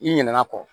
I ɲinɛ kɔ